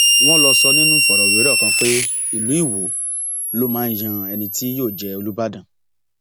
wọn lọ sọ nínú ìfọrọwérọ kan pé ìlú iwọ ló máa ń yan ẹni tí yóò jẹ olùbàdàn